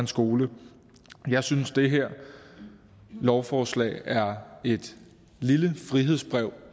skole jeg synes det her lovforslag er et lille frihedsbrev